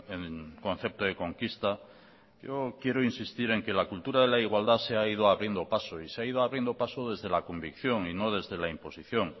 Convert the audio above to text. en concepto de conquista yo quiero insistir en que la cultura de la igualdad se ha ido abriendo paso y se ha ido abriendo paso desde la convicción y no desde la imposición